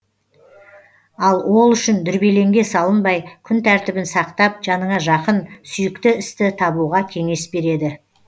ал ол үшін дүрбелеңге салынбай күн тәртібін сақтап жаныңа жақын сүйікті істі табуға кеңес береді